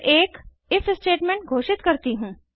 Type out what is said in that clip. फिर एक if statement घोषित करती हूँ